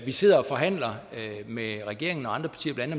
vi sidder og forhandler med regeringen og andre partier blandt